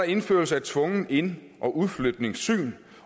indførelse af tvungen ind og udflytningssyn